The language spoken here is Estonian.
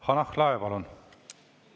Hanah Lahe, palun!